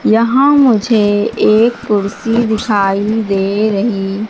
यहां मुझे एक कुर्सी दिखाई दे रही--